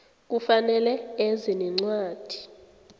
kufanele eze nencwadi